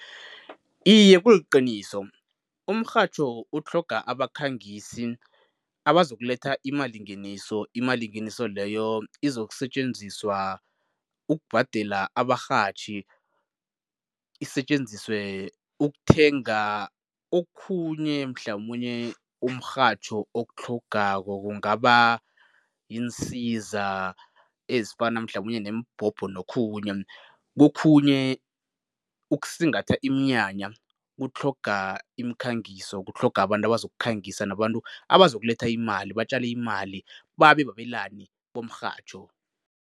Iye, kuliqiniso. Umrhatjho utlhoga abakhangisi abazokuletha imalingeniso. Imalingeniso leyo izokusetjenziswa ukubhadela abarhatjhi, isetjenziswe ukuthenga okhunye mhlamunye umrhatjho okutlhogako, kungaba yiinsiza ezifana mhlamunye neembhobho nokhunye. Kokhunye ukusingatha iminyanya kutlhoga imikhangiso, kutlhoga abantu abazokukhangisa nabantu abazokuletha imali, batjale imali, babe babelani bomrhatjho.